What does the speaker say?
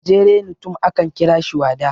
gajerenutum akan kira shi wada